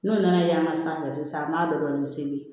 N'o nana yaala sanfɛ sisan an b'a dɔ dɔɔnin seli